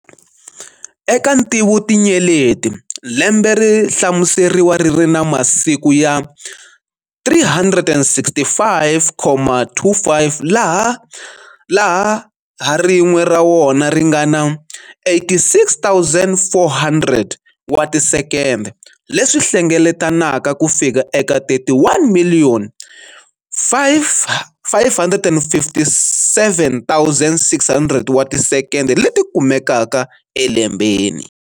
Eka ntivotinyeleti, lembe ri hlamuseriwa riri na masiku ya 365.25 laha ha rin'we ra wona ringana 86,400 wa ti sekende, leswi hlengeletelanaka kufika eka 31,557,600 wa ti sekende leti kumekaka elembeni.